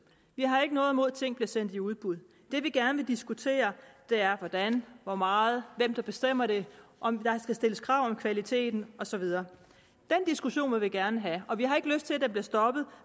vi har ikke noget imod at ting bliver sendt i udbud det vi gerne vil diskutere er hvordan hvor meget hvem der bestemmer det om der skal stilles krav om kvaliteten og så videre den diskussion vil vi gerne have og vi har ikke lyst til at den bliver stoppet